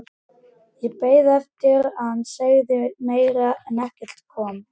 Ég beið eftir að hann segði meira en ekkert kom.